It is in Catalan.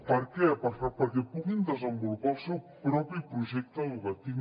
per què perquè puguin desenvolupar el seu propi projecte educatiu